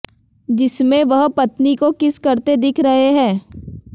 जिसमें वह पत्नी को किस करते दिख रहे हैं